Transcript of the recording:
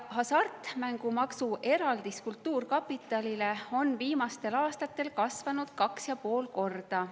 Hasartmängumaksu eraldis kultuurkapitalile on viimastel aastatel kasvanud 2,5 korda.